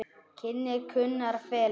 Kynnar Gunnar og Felix.